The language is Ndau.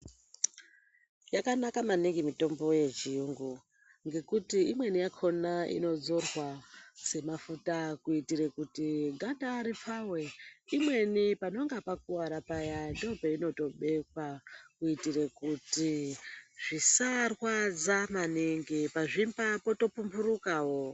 Yakanaka maningi mitombo yechiyungu ngekuti imweni yakona inodzorwa semafuta kuitire kuti ganda ripfawe, imweni panonga pakuwara paya ndopeinotobekwa kuitire kuti zvisarwadza maningi, pazvimba poto pumburu kawo.